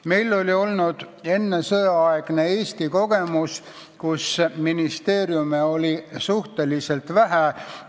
Meil oli olemas sõjaeelne kogemus, kus ministeeriume oli Eestis suhteliselt vähe.